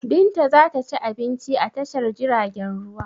Binta za ta ci abinci a tashar jiragen ruwa.